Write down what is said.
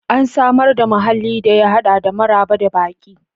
An samar da muhallin da ya hada da maraba da baki.